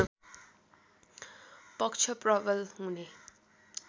पक्ष प्रवल हुने